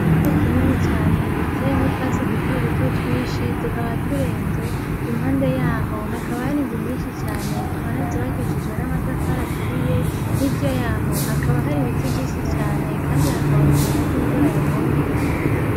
Ikibuga kinini cane giteyemwo utwatsi dutoduto twinshi tukaba turenze ,impande yaho hakaba hari inzu nyinshi cane tubona zubakishijwe n'amatafari aturiye. Hirya yaho hakaba hari ibiti vyinshi cane Kandi hakabonekana ko imvura yagomba igwe.